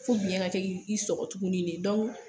Fo biyɛ ŋa te i i sɔgɔ tuguni ne, dɔw